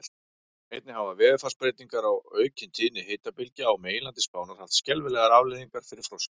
Einnig hafa veðurfarsbreytingar og aukin tíðni hitabylgja á meginlandi Spánar haft skelfilegar afleiðingar fyrir froskdýr.